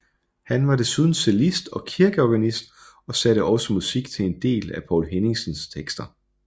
Han var desuden cellist og kirkeorganist og satte også musik til en del af Poul Henningsens tekster